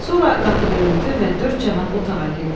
Sonra qapı döyüldü və dörd cənab otağa girdi.